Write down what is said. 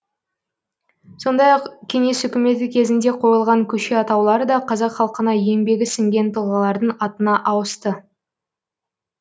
сондай ақ кеңес үкіметі кезінде қойылған көше атаулары да қазақ халқына еңбегі сіңген тұлғалардың атына ауысты